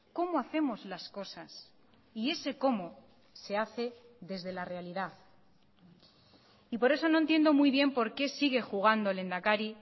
cómo hacemos las cosas y ese cómo se hace desde la realidad y por eso no entiendo muy bien por qué sigue jugando lehendakari